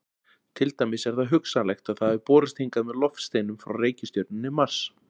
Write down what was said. Til dæmis er hugsanlegt að það hafi borist hingað með loftsteinum frá reikistjörnunni Mars.